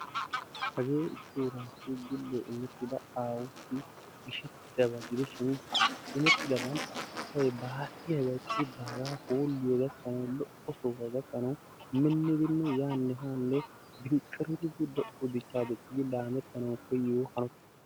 Hage issi urassi gile immettida gishshetidaaba aawussi gishetidabaa gidishin immetidaban asay ba hargiya baagaa hooliyaa gakkanawu lo"o sohuwa gakkanawu minnidinne yaanne hanne biinqiridi lo"o dichcha diccidi laammettanawu koyiyyoba.